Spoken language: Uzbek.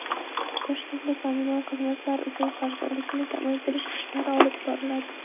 Toshkentda kommunal xizmatlar uchun qarzdorlikni kamaytirish ishlari olib boriladi.